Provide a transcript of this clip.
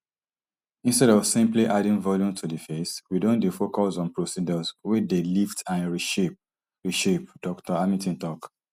instead of simply adding volume to di face we don dey focus on procedures wey dey lift and reshape reshape dr hamilton tok